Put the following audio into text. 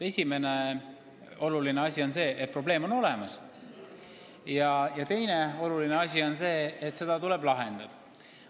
Esimene on see, et probleem on olemas, ja teine on see, et see tuleb lahendada.